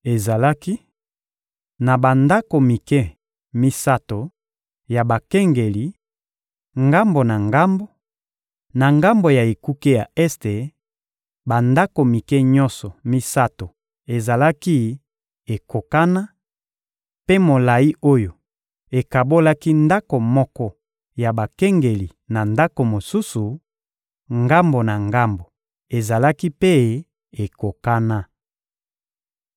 Ezalaki na bandako mike misato ya bakengeli, ngambo na ngambo, na ngambo ya ekuke ya este; bandako mike nyonso misato ezalaki ekokana, mpe molayi oyo ekabolaki ndako moko ya bakengeli na ndako mosusu, ngambo na ngambo, ezalaki mpe ekokana.